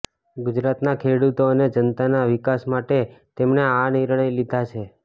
ગુજરાતના ખેડૂતો અને જનતાના વિકાસ માટે તેમણે આ નિર્ણય લીધા છે